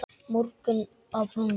Morgunn á brúnni